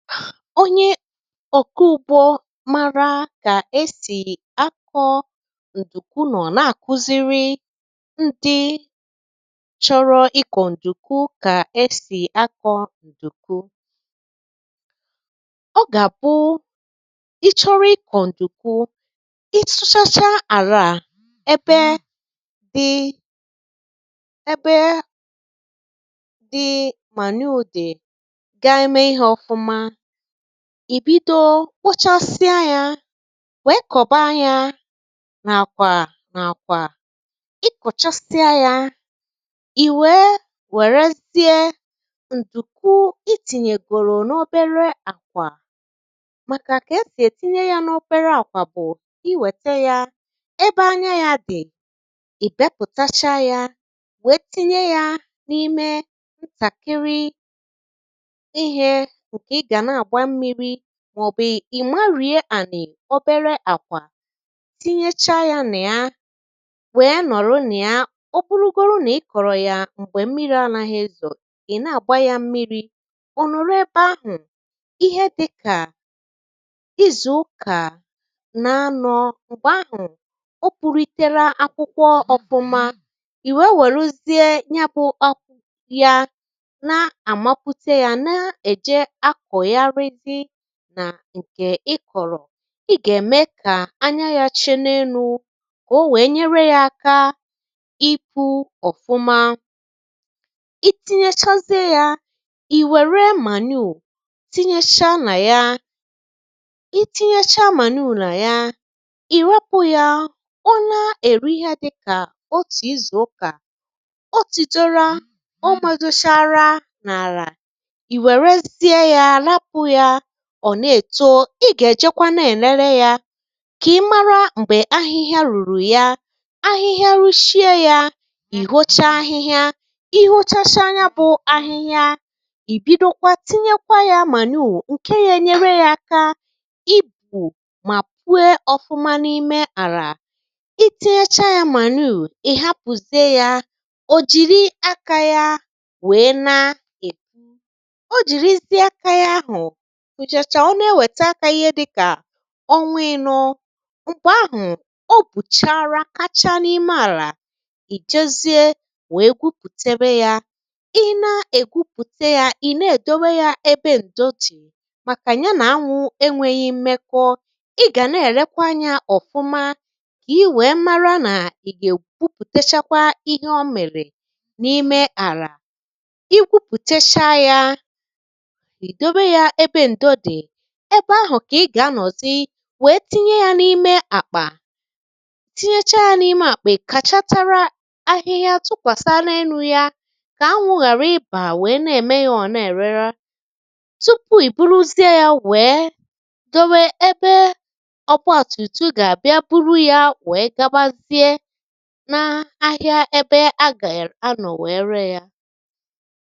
Onye ọ̀kụ ụ̀gbọ màrà kà esì akọ̇ ǹdùkwu nọ̀ nà àkụziri ndị chọrọ ikọ̀ ǹdùkwu, kà esì akọ̇ ǹdùkwu. Ọ gà-àbụ, ị chọrọ ikọ̀ ǹdùkwu, isụ́chacha àlà à ebe dị, ebe dị mà neè o dị, gaa eme ihe ọ̀fụma. Ì bido kpochasịa ya, wee kọ̀baa yȧ n’àkwà n’àkwà. Ị kòchasịa ya, ì wee wèrezie ǹdùkwu itìnyègòrò n’obere àkwà, màkà kà esì ètinye ya n’obere àkwà bụ̀ i wète yà; ebe anya ya dì, ì bepùtacha ya, wee tinye ya n’ime ntakịrị ihe I gana agba mmiri, màọ̀bụ̀ ì marịa à nè obere àkwà, tinyecha yȧ nà ya, wèe nọ̀rọ nà ya. Ọ bụrụgoro nà ị kọ̀rọ̀ ya m̀gbè mmiri anȧghị̇, ị̀ na-àgba yȧ mmiri̇, ò nọ̀rọ ebe ahụ̀ ihe dịkà izù ụkà na-anọ̇. Mgbè ahụ̀, o burutere akwụkwọ ọ̀bụ̀mȧ, ì wèruzie nyabụ̇ ọkụ ya, na àmapụta yȧ na-èje akọ̀ nà ǹkè ịkọ̀rọ̀. Ì gà-ème kà anya yȧ chinėinụ̇, kà o wèe nyere yȧ aka. Ị pụ̇ ọ̀fụma. I tinyechazie yȧ, ì wère manure, tinyecha nà ya. Ì tinyecha manure nà ya, ì rapụ̇ yȧ, ọ na-èru ihe dịkà otù izùukà. O tùdoro ụmụ̀dụ chara nà àlà, I were zie ya, hapụ ya, ọ̀ na-èto. Ị gà-èjekwa na-èlele ya, kà ị̀ mara m̀gbè ahịhịa rùrù ya. Ahịhịa ruchie ya, ì hócha ahịhịa. I hóchacha anya bụ̀ ahịhịa, ì bido kwa, tinyekwa ya manure ǹke yà ènyere ya aka ibù, mà puo ọ̀fụma n’ime àlà. Itinyacha ya manure, ị̀ hapụ̀ze ya, ò jìrì aka ya wèe na o jìrìzie aka ya ahụ̀, Ǹjàchà ọ na-ewèta akȧ, ihe dịkà onwa inọ̇. Mgbè ahụ̀, o bùchara kacha n’ime àlà. Ì jezie wèe gwupùtebe yȧ. Ị na-ègwupùte yȧ, ị̀ na-èdowe yȧ ebe ǹdòtì, màkà ya nà-anwụ̇ enwėghi̇ mmekọ. Ị gà na-èrekwa anyȧ ọ̀fụma, i nwèe mara nà ì gà-ègwupùtechakwa ihe ọ mèrè n’ime àlà. Egwupùtechakwa yà, èdowe yȧ ebe ǹdòtì, ebe ahụ̀ kà ị gà-anọ̀zị, wèe tinye yȧ n’ime àkpà. Tinyechaa n’ime àkpà, `ikàchatara ahịhịa tupàsa n’enu̇ ya, kà anwụ̇ ghàra ị bà Wèe na-ème yȧ ọ̀ na-èrere. Tupu ị̀ buruzie yȧ, wèe dowe ebe ọgwọ̇tụ̀tụ gà-àbịa, buru yȧ, wèe gabazie nȧ-ȧhịȧ, ebe a gà-èra nọ̀, wee ree yȧ.